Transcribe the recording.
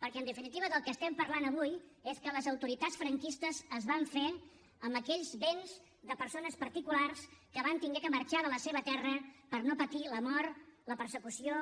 perquè en definitiva del que estem parlant avui és que les autoritats franquistes es van fer amb aquells béns de persones particulars que van haver de marxar de la seva terra per no patir la mort la persecució